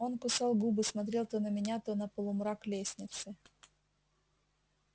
он кусал губы смотрел то на меня то на полумрак лестницы